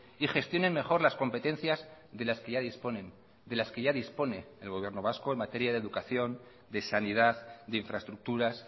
y gestionen mejor las competencias de las que ya disponen de las que ya dispone el gobierno vasco en materia de educación de sanidad de infraestructuras